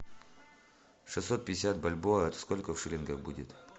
шестьсот пятьдесят бальбоа это сколько в шиллингах будет